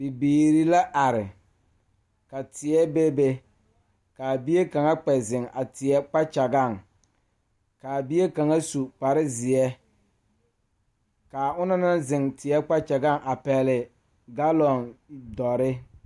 Bibiiri la are ba ba zeŋ leɛ la ba puori ko zie ba naŋ daare bayi zeŋ ta la teŋa bata vɔgle la sapele naŋ waa peɛle bonyene vɔgle sapele naŋ e sɔglɔ ba taa la ba tontuma boma kaa waa buluu.